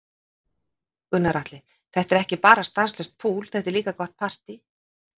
Gunnar Atli: Þetta er ekki bara stanslaust púl, þetta er líka gott partý?